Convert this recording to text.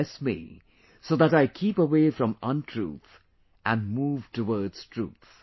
Bless me so that I keep away from untruth and move towards truth